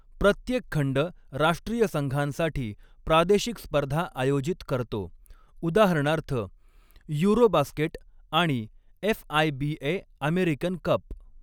प्रत्येक खंड राष्ट्रीय संघांसाठी प्रादेशिक स्पर्धा आयोजित करतो, उदाहरणार्थ युरोबास्केट आणि एफ.आय.बी.ए. American cup.